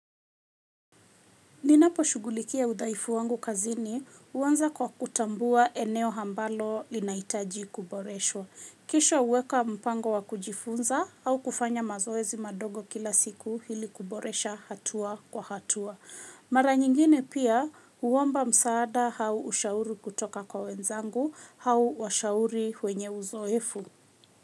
Ninapo shughulikia udhaifu wangu kazini huanza kwa kutambua eneo ambalo linahitaji kuboreshwa. Kisha huweka mpango wa kujifunza au kufanya mazoezi madogo kila siku hili kuboresha hatua kwa hatua. Mara nyingine pia huomba msaada au ushauri kutoka kwa wenzangu au washauri wenye uzoefu.